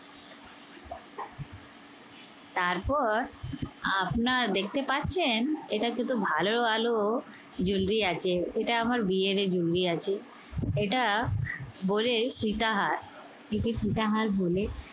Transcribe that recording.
তারপর আপনারা দেখতে পাচ্ছেন এটা কিন্তু ভালো ভালো jewelry আছে। এটা আমার বিয়েরই jewelry আছে। এটা বলে সীতা হার। এটাকে সীতা হার বলে।